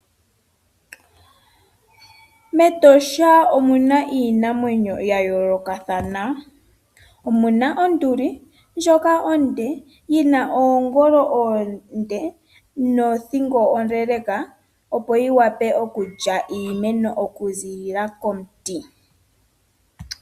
Metosha omuna iinamwenyo ya yoolokathana, omuna onduli, ndjoka onde, yina oongolo oonde nothingo ondeendeka, opo yi vule okulya iimeno oku ziilila komuti.